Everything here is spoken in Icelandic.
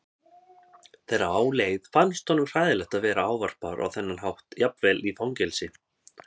Þegar á leið fannst honum hræðilegt að vera ávarpaður á þennan hátt jafnvel í fangelsi.